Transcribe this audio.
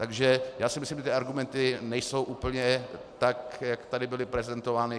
Takže já si myslím, že ty argumenty nejsou úplně tak, jak tady byly prezentovány.